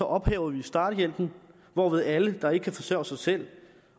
ophæver vi starthjælpen hvorved alle der ikke kan forsørge sig selv